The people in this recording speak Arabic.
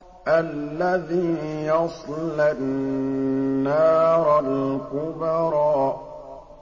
الَّذِي يَصْلَى النَّارَ الْكُبْرَىٰ